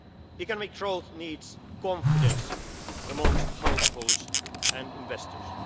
choices. Economic growth needs confidence amongst households and